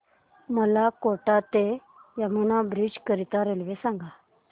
मला कोटा ते यमुना ब्रिज करीता रेल्वे सांगा